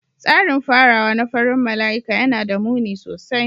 Tsarin farawa na farin mala'ika yana da muni sosai.